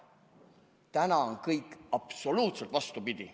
Täna on kõik absoluutselt vastupidi.